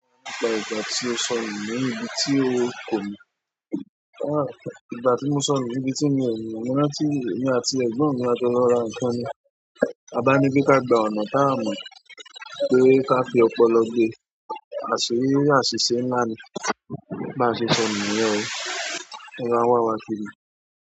Ìgbà tí o sọ nù níbi tí ò ko mọ̀, ìgbà ti mo sonu nibi ti mi o mo mo rántí èmi àti ẹ̀gbọ́n mi a jó lọ ra nǹkan ni. A bá ní pé ká gba ọ̀nà táa mọ̀, pé ká fi ọpọlọ gbé, à se áṣíṣe ńlá ni. Bá ṣe sọ ni yẹn o, ẹbẹ́ wa wá kiri.